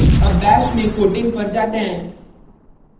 अब bash में quoting quoting पर जाते हैं